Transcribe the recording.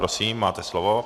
Prosím, máte slovo.